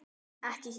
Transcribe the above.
Ekki hér.